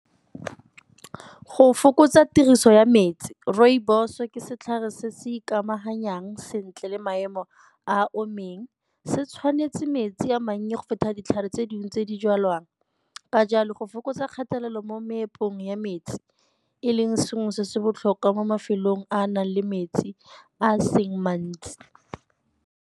Go fokotsa tiriso ya metsi rooibos-o ke setlhare se se ikamanyang sentle le maemo a omileng. Se tshwanetse metsi a mannye go feta ditlhare tse dingwe tse di jwalwang, ka jalo go fokotsa kgatelelo mo meepong ya metsi e leng sengwe se se botlhokwa mo mafelong a a nang le metsi a seng mantsi.